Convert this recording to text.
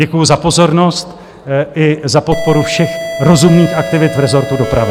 Děkuji za pozornost i za podporu všech rozumných aktivit v rezortu dopravy.